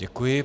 Děkuji.